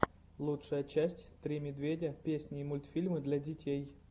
лучшая часть три медведя песни и мультфильмы для детей